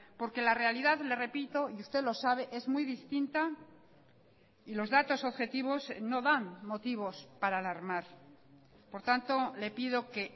porque la realidad le repito y usted lo sabe es muy distinta y los datos objetivos no dan motivos para alarmar por tanto le pido que